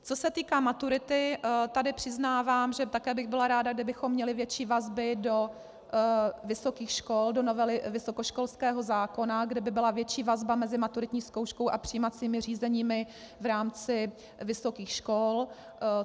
Co se týká maturity, tady přiznávám, že také bych byla ráda, kdybychom měli větší vazby do vysokých škol, do novely vysokoškolského zákona, kde by byla větší vazba mezi maturitní zkouškou a přijímacími řízeními v rámci vysokých škol.